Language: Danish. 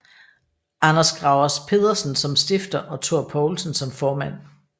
Anders Gravers Pedersen som stifter og Thor Poulsen som formand